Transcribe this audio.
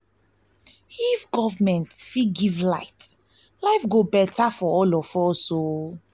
if government fit give light life go better for all of us"